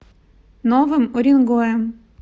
новым уренгоем